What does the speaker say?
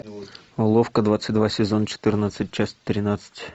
уловка двадцать два сезон четырнадцать часть тринадцать